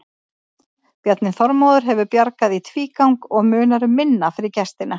Bjarni Þórður hefur bjargað í tvígang og munar um minna fyrir gestina.